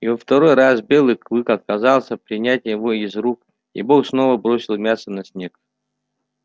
и во второй раз белый клык отказался принять его из рук и бог снова бросил мясо на снег